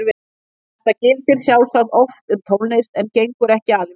Þetta gildir sjálfsagt oft um tónlist en gengur ekki alveg upp.